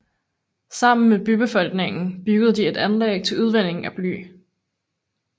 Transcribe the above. Sammen med bybefolkningen byggede de et anlæg til udvinding af bly